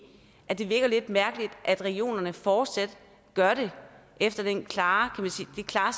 at det virker lidt mærkeligt at regionerne fortsat gør det efter det klare